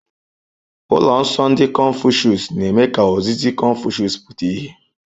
Ụlọ nsọ ndị confucius na-eme ka ozizi Confucius pụta ìhè.